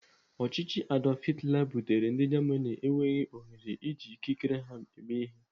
Ọchịchị Adolf Hitler butere ndị Germany enweghị ohere iji ikikere ha eme ihe.